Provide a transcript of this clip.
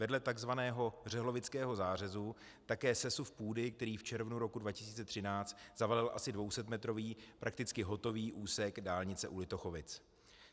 Vedle tzv. řehlovického zářezu také sesuv půdy, který v červnu roku 2013 zavalil asi 200metrový, prakticky hotový úsek dálnice u Litochovic.